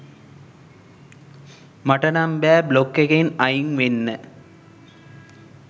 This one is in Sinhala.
මට නම් බෑ බ්ලොග් එකෙන් අයින් වෙන්න